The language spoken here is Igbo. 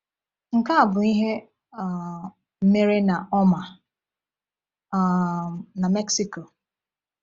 Nke a bụ ihe um mere na Omar, um na Mexico.